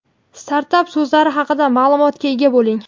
startap so‘zlari haqida ma’lumotga ega bo‘ling!.